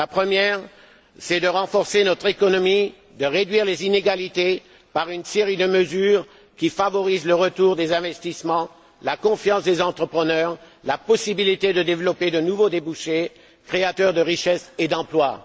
La première est de renforcer notre économie, de réduire les inégalités par une série de mesures qui favorisent le retour des investissements, la confiance des entrepreneurs, la possibilité de développer de nouveaux débouchés créateurs de richesse et d'emplois.